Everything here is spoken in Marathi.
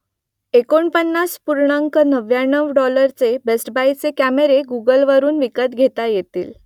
एकोणपन्नास पूर्णांक नव्व्याण्णव डॉलरचे बेस्ट बायचे कॅमेरे गुगलवरून विकत घेता येतील